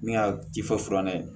Min ka tifa furanɛ ye